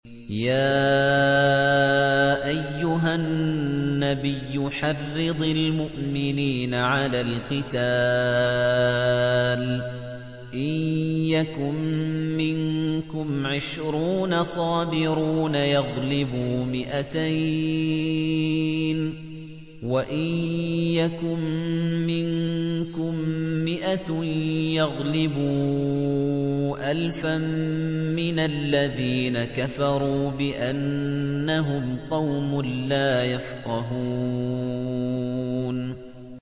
يَا أَيُّهَا النَّبِيُّ حَرِّضِ الْمُؤْمِنِينَ عَلَى الْقِتَالِ ۚ إِن يَكُن مِّنكُمْ عِشْرُونَ صَابِرُونَ يَغْلِبُوا مِائَتَيْنِ ۚ وَإِن يَكُن مِّنكُم مِّائَةٌ يَغْلِبُوا أَلْفًا مِّنَ الَّذِينَ كَفَرُوا بِأَنَّهُمْ قَوْمٌ لَّا يَفْقَهُونَ